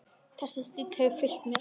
Þessi stíll hefur fylgt mér.